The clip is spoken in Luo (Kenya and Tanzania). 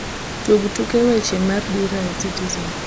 tug tuke weche mar dira ya citizen